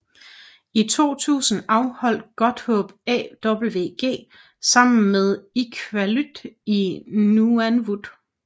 I 2002 afholdt Godthåb AWG sammen med Iqaluit i Nunavut